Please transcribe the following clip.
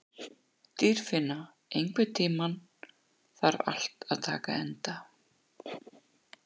Dýrfinna, einhvern tímann þarf allt að taka enda.